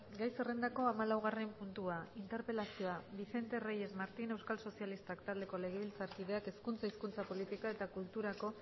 gai zerrendako hamalaugarren puntua interpelazioa vicente reyes martín euskal sozialistak taldeko legebiltzarkideak hezkuntza hizkuntza politika eta kulturako